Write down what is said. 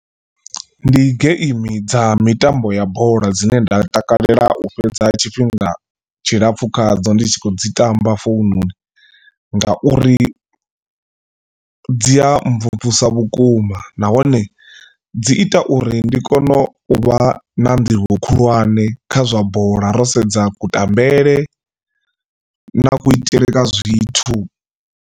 Ndi geimi dza mitambo ya bola dzine nda takalela u fhedza tshifhinga tshilapfu khadzo ndi tshi khou dzi tamba foununi ngauri dzi a mvumvusa vhukuma nahone dzi ita uri ndi kone u vha na nḓivho khulwane kha zwa bola ro sedza kutambele na kuitele kwa zwithu.